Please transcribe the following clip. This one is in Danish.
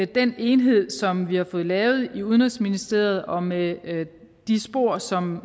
den enhed som vi har fået lavet i udenrigsministeriet og med de spor som